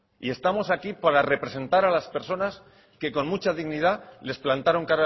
y estamos aquí para representar a las personas que con mucha dignidad les plantaron